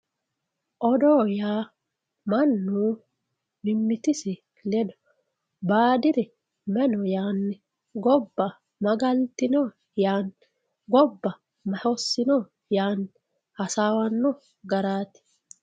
odoo yaa mannu mimmitisi ledo baadiri may no yaanni gobba ma galtino yaanni gobba ma hossino yaani hasaawanno garaati